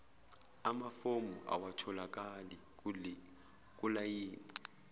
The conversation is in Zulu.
amafomu awatholakali kulayini